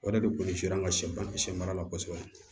O yɛrɛ de kun sidilan ka sɛ ban siɲɛ mara la kosɛbɛ